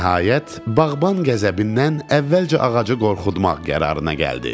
Nəhayət, bağban qəzəbindən əvvəlcə ağacı qorxutmaq qərarına gəldi.